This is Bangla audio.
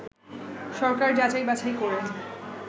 সরকার যাচাই বাছাই করে